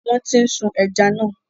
Wọ́n ti ń sun ẹja náà.